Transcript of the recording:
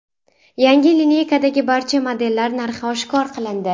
Yangi lineykadagi barcha modellar narxi oshkor qilindi.